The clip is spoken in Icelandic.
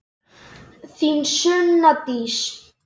Þín Sunna Dís.